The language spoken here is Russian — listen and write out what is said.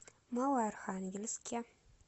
малоархангельске